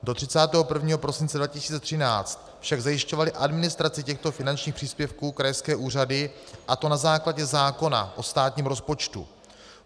Do 31. prosince 2013 však zajišťovaly administraci těchto finančních příspěvků krajské úřady, a to na základě zákona o státním rozpočtu.